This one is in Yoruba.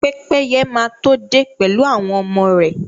Pẹ́pẹ́ye máa to dé pẹ̀lú àwọn ọmọ rè.